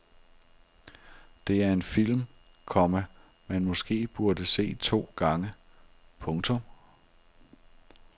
Det er en film, komma man måske burde se to gange. punktum